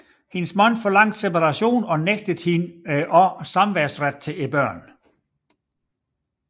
Hendes mand forlangte separation og nægtede hende også samværsret til børnene